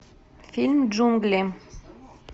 фильм джунгли